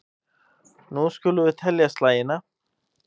Nú skulum við telja slagina.